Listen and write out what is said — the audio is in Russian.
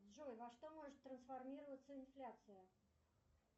джой во что может трансформироваться инфляция